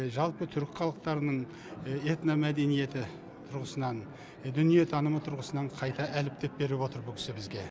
жалпы түрік халықтарының этно мәдениеті тұрғысынан дүниетанымы тұрғысынан қайта әріптеп беріп отыр бұл кісі бізге